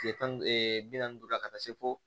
Kile tan ni duuru bi naani ni duuru la ka taa se fo